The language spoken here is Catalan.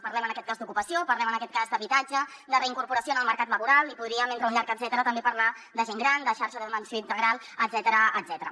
parlem en aquest cas d’ocupació parlem en aquest cas d’habitatge de reincorporació en el mercat laboral i podríem dintre d’un llarg etcètera també parlar de gent gran de xarxa d’atenció integral etcètera